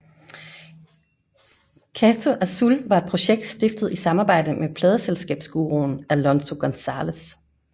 Cato Azul var et projekt stiftet i samarbejde med pladeselskabsguruen Alonso Gonzalez